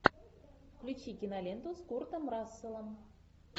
включи киноленту с куртом расселом